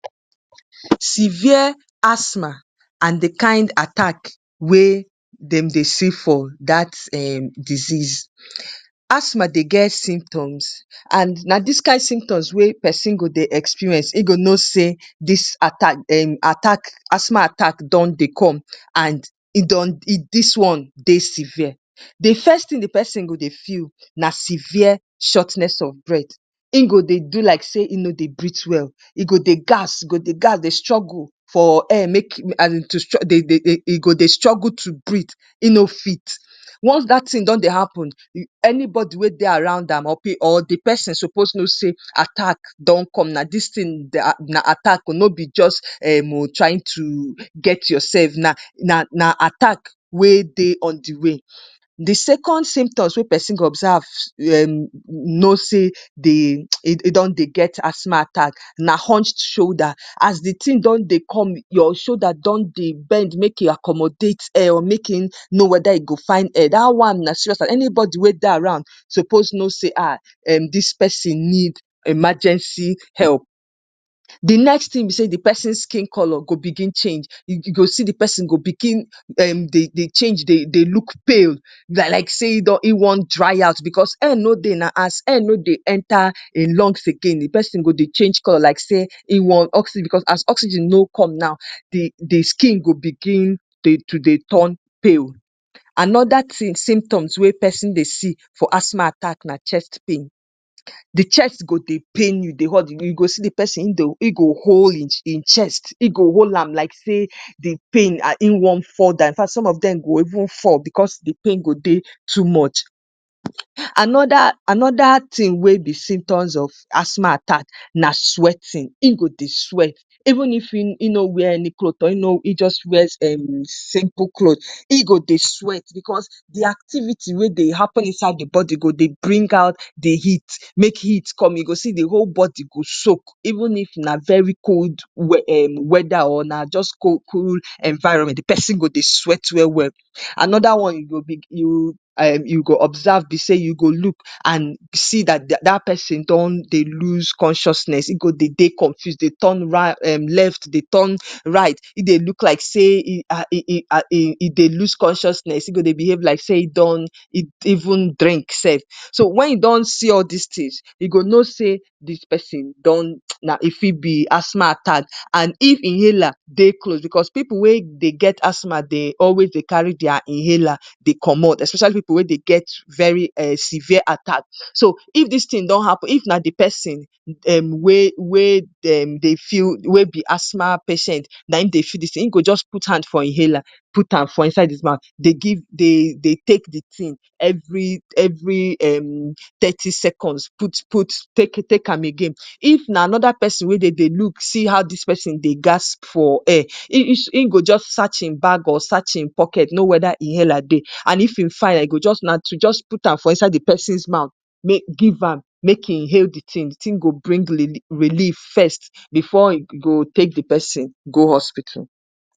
‎severe asthma and di kind attack wey dem dey see for dat m desease asmai dey get simptoms and na diskyi simctors wey peson go dey experience hin go know say dis attack dem attack asmal attack don deycom and edon e dis one dey sevire di first ting di pesin go dey feel na sevir shortness of breath hin go dey do like say e no dey briet well e go dey gas dey gas dey struggle for air e go dey de dey struggle to breath in no fit, once dat tin don dey happen anybody we dey around am de person suppose know say attack na attack o no be jus um trying to get yourself na attack we dey on de way, de second symptom wen person go observe no say dey um e don dey get asma attack na hushed shoulder as de tin don dey come your shoulder don dey bend make e accommodate air make e no weda e go find air anybody wen dey around go suppose no say dis erain need emergency help, de another one na de person skin colour u go see de person go begin dey change dey look pale like say in wan dry out air no dey na as air no dey enter in lungs again de pesin go dey change colour like say in want oxygen but as oxygen no come na de skin go begin to dey turn to dey turn pale anoda tin symptom we pesin dey see for asma attack na chest pain, de chest go dey pain you you go see de pesin in go hol e chest in go hol am like say in wan fall down infact some of Dem go even fall bcos de pain go dey too much, anoda tin we be symptom of as attack na sweating in go dey sweat even if infection no wear any cloth or in wear simple clothe in go dey sweat bcos de activity we dey happen inside e body go dey bring out de heat, make heat come u go see de hole body go soak even if na very cold wed um weda or na jus cool environment de pesin go dey sweat welwel. Anoda one you go observe be say u go look and see dat dat person don dey loose consciousness e go dey de confused dey turn left dey turn right e dey behave like say e dey loose consciousness e go dey behave like say in don drink sef u go no say dis person don um e Fi be asma attack and if inhaler dey close bcos pipu wen dey get asma attack dey always dey carry their inhaler dey comot especially pipu wen dey get very severe attack so if dis Rin don happen if na dey person um we we Dem dey feel we be ask patient na um dey feel de tin in go jus put hand for inhaler very am out am for inside his mouth dw take de tin every every um tety seconds out put take take am again, if na anida person dey look see how dis pesin dey gasp for air in go jus search in bag or search in pocket to no weda inhaler dey and if e find am na to jus put am inside de person's mouth make he inhale de tin de tin go bring leli relief first before e go take de pesin go hospital.